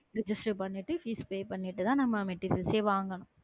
Register பன்னிட்டு fees pay பண்ணிட்டு நம்ம materials எ வாங்கணும்.